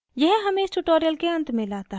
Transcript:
यह हमें इस tutorial के अंत में लाता है